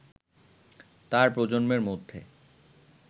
তার প্রজন্মের মধ্যে